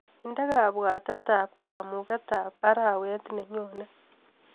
Indee kabwatetap kamung'etap arawet nenyone.